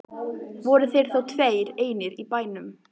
Voru þeir þá tveir einir í bænum.